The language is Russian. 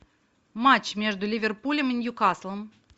матч между ливерпулем и ньюкаслом